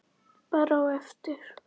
Bara á eftir.